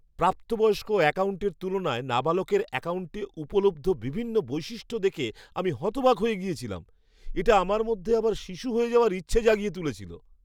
প্রাপ্তবয়স্ক অ্যাকাউন্টের তুলনায় নাবালকের অ্যাকাউন্টে উপলব্ধ বিভিন্ন বৈশিষ্ট্য দেখে আমি হতবাক হয়ে গিয়েছিলাম। এটা আমার মধ্যে আবার শিশু হয়ে যাওয়ার ইচ্ছে জাগিয়ে তুলেছিল।